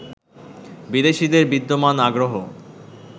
বিদেশিদের বিদ্যমান আগ্রহ